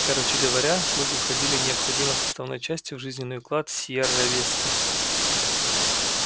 короче говоря слуги входили необходимой составной частью в жизненный уклад сиерра висты